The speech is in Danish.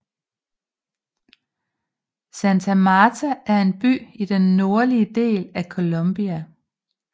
Santa Marta er en by i den nordlige del af Colombia